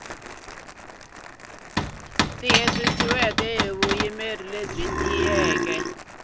tiyisisiweke hi vuyimeri byo tiyisisa